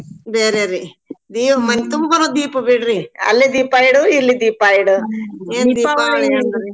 ಬೇರೆರಿ ದೀ~ ಮನ್ ತುಂಬಾನೂ ದೀಪ್ ಬಿಡ್ರಿ. ಅಲ್ಲಿ ದೀಪಾ ಇಡು ಇಲ್ಲಿ ದೀಪಾ ಇಡು. .